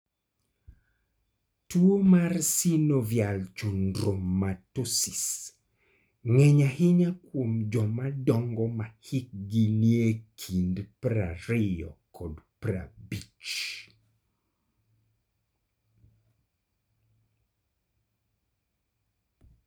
Tuwo mar synovial chondromatosis nge'ny ahinya kuom joma dongo ma hikgi nie kind 20 kod 50.